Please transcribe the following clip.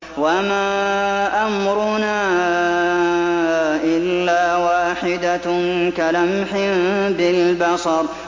وَمَا أَمْرُنَا إِلَّا وَاحِدَةٌ كَلَمْحٍ بِالْبَصَرِ